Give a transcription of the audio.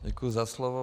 Děkuji za slovo.